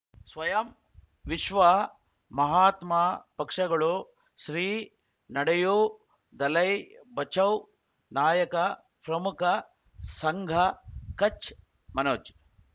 ಸ್ವಯಂ ವಿಶ್ವ ಮಹಾತ್ಮ ಪಕ್ಷಗಳು ಶ್ರೀ ನಡೆಯೂ ದಲೈ ಬಚೌ ನಾಯಕ ಪ್ರಮುಖ ಸಂಘ ಕಚ್ ಮನೋಜ್